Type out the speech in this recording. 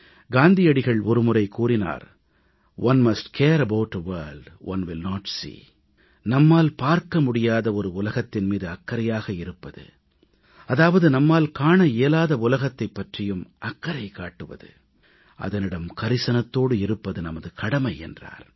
காந்தியடிகள் ஒருமுறை கூறினார் one must care about a world one will not see நம்மால் பார்க்க முடியாத உலகத்தின் மீது அக்கறையாக இருப்பது அதாவது நம்மால் காண இயலாத உலகத்தைப் பற்றியும் அக்கறை காட்டுவது அதனிடம் கரிசனத்தோடு இருப்பது நமது கடமை என்றார்